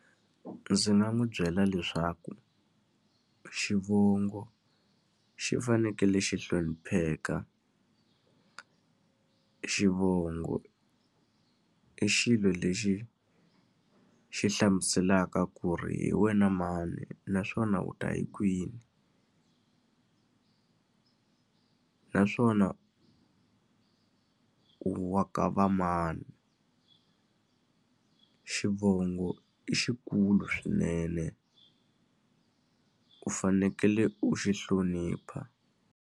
Ndzi nga n'wi byela leswaku xivongo xi fanekele xi hlonipheka. Xivongo i xilo lexi xi hlamuselaka ku ri hi wena mani naswona u ta hi kwini naswona u wa ka va mani. Xivongo i xikulu swinene u fanekele u xi hlonipha.